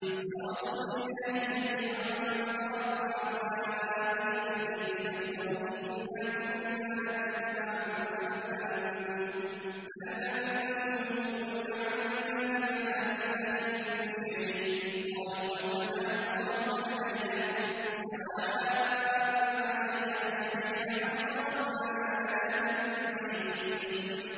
وَبَرَزُوا لِلَّهِ جَمِيعًا فَقَالَ الضُّعَفَاءُ لِلَّذِينَ اسْتَكْبَرُوا إِنَّا كُنَّا لَكُمْ تَبَعًا فَهَلْ أَنتُم مُّغْنُونَ عَنَّا مِنْ عَذَابِ اللَّهِ مِن شَيْءٍ ۚ قَالُوا لَوْ هَدَانَا اللَّهُ لَهَدَيْنَاكُمْ ۖ سَوَاءٌ عَلَيْنَا أَجَزِعْنَا أَمْ صَبَرْنَا مَا لَنَا مِن مَّحِيصٍ